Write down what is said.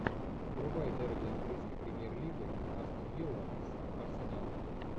врубай дерби английской премьер лиги астон вилла с арсеналом